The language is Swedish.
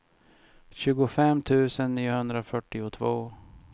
tjugofem tusen niohundrafyrtiotvå